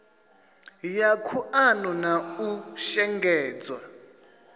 ya khuḓano na u shengedzwa